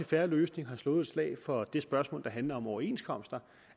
fair løsning har slået et slag for det spørgsmål der handler om overenskomster